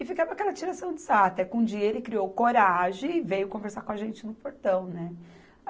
E ficava aquela tiração de sarro, até que um dia ele criou coragem e veio conversar com a gente no portão, né?